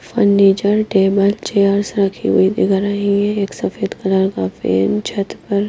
furniture table chairs रखी हुई थी एक सफेद कलर का फेन छत पर--